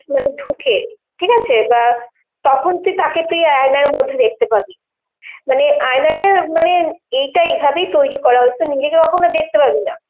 মানে ঢোকে, ঠিক আছে, বা তখন তুই তাকে তুই আয়নার মধ্যে দেখতে পাবি. মানে আয়নাটা মানে এইটা এই ভাবেই তৈরি করা হয়েছে, নিজেকে কখনো দেখতে পাবি না,